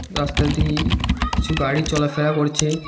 রাস্তা দিয়ে কিছু গাড়ি চলাফেরা করছে।